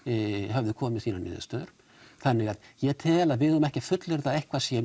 höfðu komið með niðurstöður þannig ég tel að við eigum ekki að fullyrða að eitthvað sé